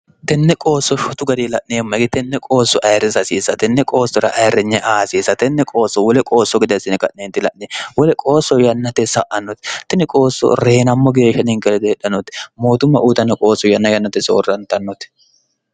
tenne qoosso fotu gari la'niemmayi tenne qoosso ayirrisi asiisa tenne qoossora ayirrinye aasiisa tenne qoosso wole qoosso gede assine qa'neenti la'nie wole qoosso yannate sa'annoti tine qoosso reyinammo geeshsha ninke lede hedhanoti mootumma uutanno qoosso yanna yannate soorrantannoti